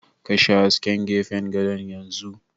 Kashe hasken gefen gadon yanzu!